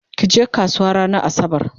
kije kasuwa ranar asabar!